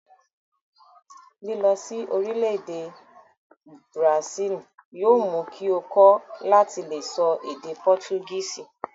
Lilọ sí orílẹ̀-èdè bùràsílì yóò mú kí ó kọ́ láti le sọ èdè pọtugísì.